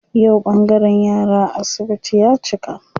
Yau ɓangaren yara a asibiti ya cika.